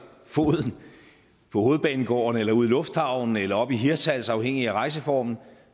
foden på hovedbanegården eller ude i lufthavnen eller oppe i hirtshals afhængigt af rejseformen